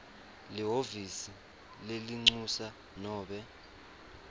lihhovisi lelincusa nobe